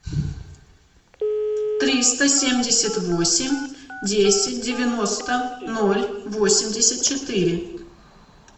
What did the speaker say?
триста семьдесят восемь десять девяносто ноль восемьдесят четыре